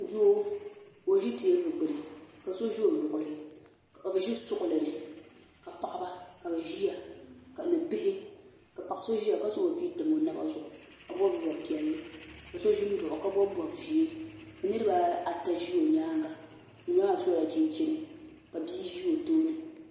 Doo ka o ʒi teebuli gbini ka so za o luɣuli ka o ʒi suɣulini ka paɣaba ka bɛ ʒia ni bihi ka paɣa so ʒia ka zaŋ bia yam o naba zuɣu ka bobi bob'piɛli ka so ʒin m baɣi o ka bobi bob'ʒee niriba ata ʒi o nyaanga ŋun maa sola chinchini ka bia ʒi o tooni.